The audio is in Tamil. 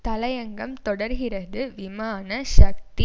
தலையங்கம் தொடர்கிறது விமான சக்தி